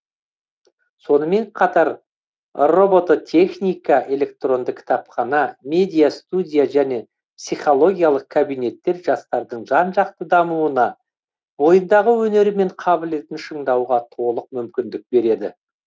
сонымен қатар робототехника электронды кітапхана медиа студия және психологиялық кабинеттер жастардың жан жақты дамуына бойындағы өнері мен қабілетін шыңдауға толық мүмкіндік береді